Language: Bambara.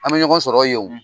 An bi ɲɔgɔn sɔrɔ yen wo